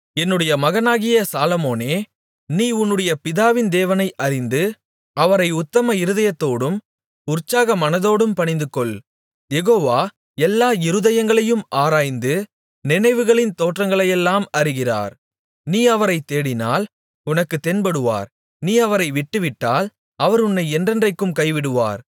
என்னுடைய மகனாகிய சாலொமோனே நீ உன்னுடைய பிதாவின் தேவனை அறிந்து அவரை உத்தம இருதயத்தோடும் உற்சாக மனதோடும் பணிந்துகொள் யெகோவா எல்லா இருதயங்களையும் ஆராய்ந்து நினைவுகளின் தோற்றங்களையெல்லாம் அறிகிறார் நீ அவரைத் தேடினால் உனக்குத் தென்படுவார் நீ அவரை விட்டுவிட்டால் அவர் உன்னை என்றென்றைக்கும் கைவிடுவார்